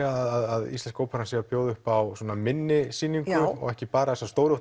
að Íslenska óperan sé að bjóða upp á minni sýningu ekki bara þessa stóru